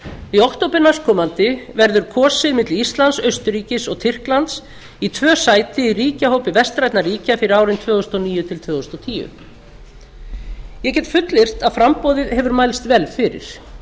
í október næstkomandi verður kosið milli íslands austurríkis og tyrklands í tvö sæti í ríkjahópi vestrænna ríkja fyrir árin tvö þúsund og níu til tvö þúsund og tíu ég get fullyrt að framboðið hefur mælst vel fyrir